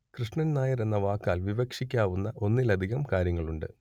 കൃഷ്ണൻ നായർ എന്ന വാക്കാൽ വിവക്ഷിക്കാവുന്ന ഒന്നിലധികം കാര്യങ്ങളുണ്ട്